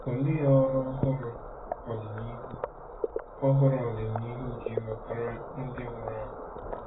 Olee ọrụ ọhụrụ ọdịnihu ọhụrụ ọdịnihu ga-ewetara ndị nwụrụ anwụ?